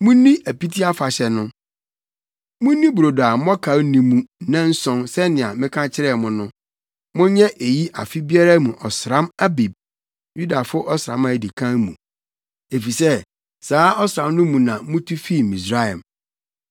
“Munni Apiti Afahyɛ no. Munni brodo a mmɔkaw nni mu nnanson sɛnea meka kyerɛɛ mo no. Monyɛ eyi afe biara mu ɔsram Abib (Yudafo ɔsram a edi kan) mu, efisɛ saa ɔsram no mu na mutu fii Misraim.